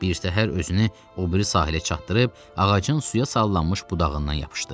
Bir səhər özünü o biri sahilə çatdırıb ağacın suya sallanmış budağından yapışdı.